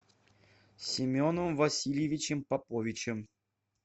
семеном васильевичем поповичем